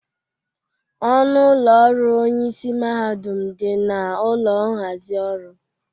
Ọnụ ụlọ ọrụ onyeisi mahadum dị na ụlọ nhazị ọrụ.